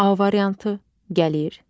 A variantı: gəlir,